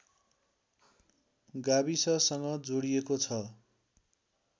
गाविससँग जोडिएको छ